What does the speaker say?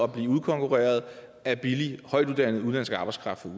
blive udkonkurreret af billig højtuddannet arbejdskraft